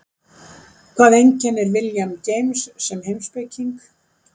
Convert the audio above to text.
Hvað einkennir William James sem heimspeking?